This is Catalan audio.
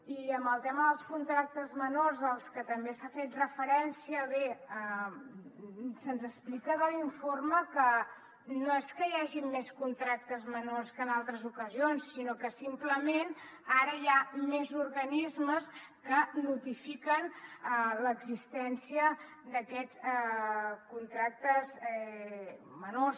i en el tema dels contractes menors als que també s’ha fet referència bé se’ns explica de l’informe que no és que hi hagin més contractes menors que en altres ocasions sinó que simplement ara hi ha més organismes que notifiquen l’existència d’aquests contractes menors